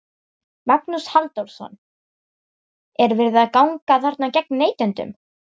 Magnús Halldórsson: Er verið að ganga þarna gegn neytendum?